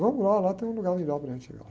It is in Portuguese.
Vamos lá, lá tem um lugar melhor para a gente